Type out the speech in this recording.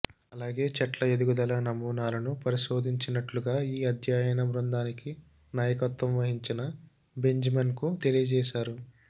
అలాగే చెట్ల ఎదుగుదల నమూనాలను పరిశోధించినట్టుగా ఈ అధ్యయన బృందానికి నాయక త్వం వహించిన బెంజమిన్కుక్ తెలియజేశారు